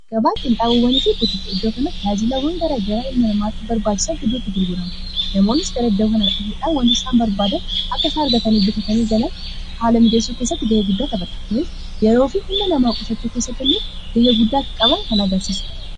agga-baaqiin xaabuwwanii fi hibutii te iddoo kanatti haajilaa wangaraa garaa ilma namaatti barbaajisaa hiduutu gurgurama namoonnis gara iddakanaa dhufuudhaan wanto isaan barbaadan akka isaa argatanii bitatanii galan haala mijeessoo keessatti ga'ee guddaa taphata kunis yeroo fi humna namaa qusachuu kessatti illee ga'ee guddaa kka-qaban kan agarsiisuudha